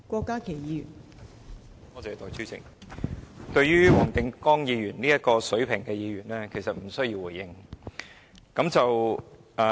代理主席，對於黃定光議員這種水平的議員，我其實無需多作回應。